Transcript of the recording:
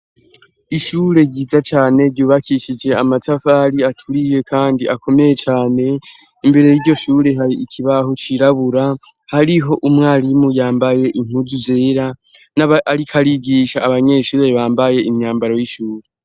Ishure ryiza cane ryubakishije amatafari aturiye kandi akomeye cane. Imbere y'iryo shure, har'ikibaho cirabura hariho umwarimu yambaye impuzu zera nawe ariko arigisha abanyeshuri bambaye imyambaro y'ishure.